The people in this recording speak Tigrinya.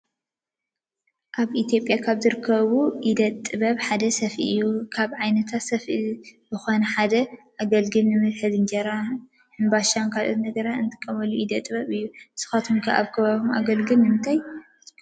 አብ ኢትየጲያ ካብ ዝርከቡ ኢደ ጥበባት ሓደ ስፈ እዩ። ካብ ዓይነታት ስፈ ዝኮነ ሓደ አገልግል ንመትሐዚ እንጀራ ፣ሕንባሻ ካልኦትን ነገራት እንጥቀመሉ ኢደ ጥበብ እዩ። ንስካትኩም ከ አብ ከባቢኩም አገልግል ንምንታይ ትጥቀሙሉ?